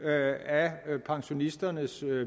af pensionisternes